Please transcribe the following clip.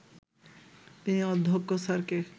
তিনি অধ্যক্ষ স্যারকে